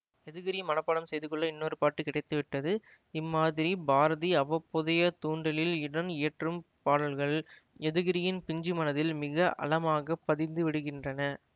யதுகிரி மனப்பாடம் செய்துகொள்ள இன்னொரு பாட்டு கிடைத்துவிட்டது இம்மாதிரி பாரதி அவ்வப்போதைய தூண்டலில் உடன் இயற்றும் பாடல்கள் யதுகிரியின் பிஞ்சு மனதில் மிக அழமாக பதிந்துவிடுகின்றன